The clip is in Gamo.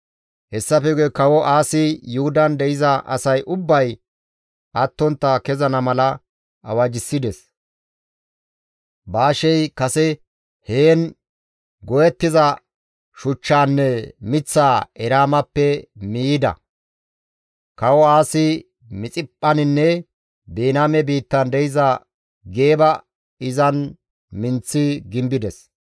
Hessafe guye Kawo Aasi Yuhudan de7iza asay ubbay attontta kezana mala awajjissides; Baashey kase heen go7ettiza shuchchaanne miththaa Eraamappe miiyida. Kawo Aasi Mixiphphaninne Biniyaame biittan de7iza Geeba izan minththi gimbides.